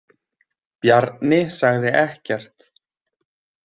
Bjarni sagði ekkert.